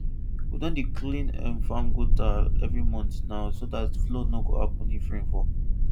we don dey clean um farm gutter every month now so that flood nor go happen if rain fall